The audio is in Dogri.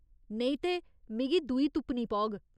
नेईं ते, मिगी दूई तुप्पनी पौग।